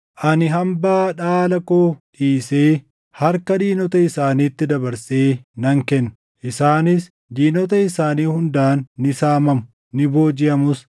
Ani hambaa dhaala koo dhiisee harka diinota isaaniitti dabarsee nan kenna. Isaanis diinota isaanii hundaan ni saamamu; ni boojiʼamus.